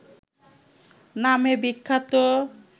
নামে বিখ্যাত